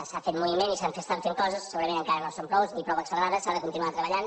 s’ha fet moviment i s’estan fent coses segurament encara no en són prou ni prou accelerades s’ha de continuar treballant